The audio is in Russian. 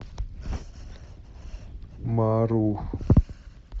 мару